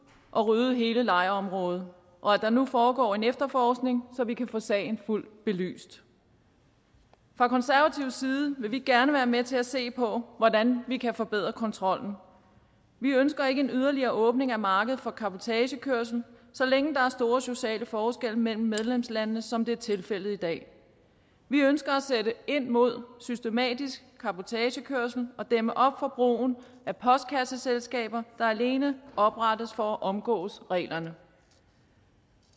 og ryddede hele lejrområdet og at der nu foregår en efterforskning så vi kan få sagen fuldt belyst fra konservativ side vil vi gerne være med til at se på hvordan vi kan forbedre kontrollen vi ønsker ikke en yderligere åbning af markedet for cabotagekørsel så længe der er store sociale forskelle mellem medlemslandene sådan som det er tilfældet i dag vi ønsker at sætte ind mod systematisk cabotagekørsel og dæmme op for brugen af postkasseselskaber der alene oprettes for at omgå reglerne